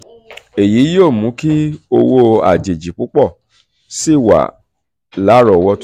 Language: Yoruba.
"èyí yóò mú kí owó àjèjì púpọ̀ sí i wà lárọ̀ọ́wọ́tó.